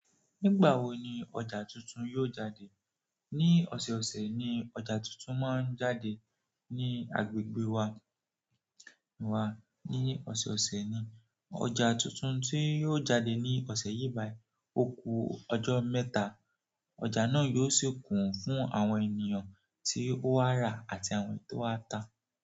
Nígbà wo ni ọjà tuntun yóò jáde? Ní ọ̀sẹ̀ẹ̀ ọ̀sẹ̀ ni ọ̀jà tuntun máa ń jáde ní agbègbè wá, wá ní ọ̀sẹ̀ẹ̀ ọ̀sẹ̀ ni. Ọjà tuntun tí yóò jáde ní ọ̀sẹ̀ yìí báì òkú ọjọ́ mẹ́ta, ọjà náà yóò sì kún fún àwọn ènìyàn tí ó wà ra àti àwọn tí ó wá ta.